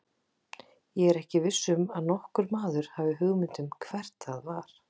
Ég er ekki viss um að nokkur maður hafi hugmynd um hvert það var.